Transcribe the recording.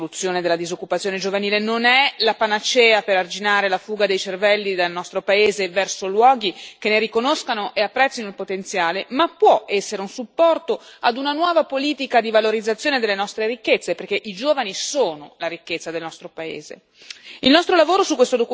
Garanzia giovani non è la soluzione alla disoccupazione giovanile, non è la panacea per arginare la fuga dei cervelli dal nostro paese verso luoghi che ne riconoscono e apprezzano il potenziale, ma può essere un supporto a una nuova politica di valorizzazione delle nostre ricchezze, perché i giovani sono la ricchezza del nostro paese.